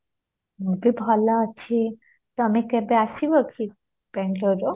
ମୁଁ ବି ଭଲ ଅଛି ତମେ କେବେ ଆସିବ କି ବାଙ୍ଗଲୋରରୁ